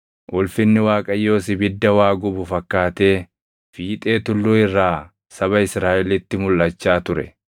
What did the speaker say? Ulfinni Waaqayyoos ibidda waa gubu fakkaatee fiixee tulluu irraa saba Israaʼelitti mulʼachaa ture.